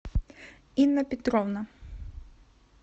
инна петровна